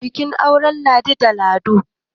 an ɗaura auren ladi da lado